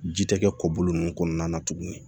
Ji tɛ kɛ kɔbolo ninnu kɔnɔna na tuguni